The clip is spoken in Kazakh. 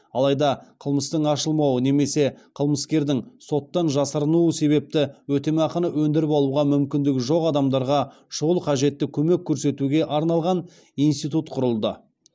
алайда қылмыстың ашылмауы немесе қылмыскердің соттан жасырынуы себепті өтемақыны өндіріп алуға мүмкіндігі жоқ адамдарға шұғыл қажетті көмек көрсетуге арналған институт құрылды